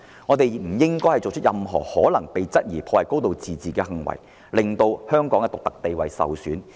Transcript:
我們不應作出任何可能被質疑破壞"高度自治"的行為，令香港的獨特地位受損。